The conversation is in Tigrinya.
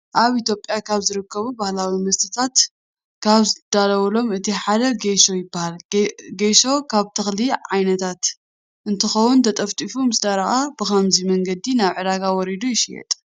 ኣብ ኢትዮጵያ ካብ ዝርከቡ ባህላዊ መስተታት ካብ ዝዳለወሎም እቲ ሓደ ጎሾ ይበሃል። ጎሾ ካብ ተክሊ ዓይነታት እንትኸውን ተጠጢፉ ምስ ደረቀ ብከምዚ መንገዲ ናብ ዕዳጋ ወሪዱ ይሽየጥ።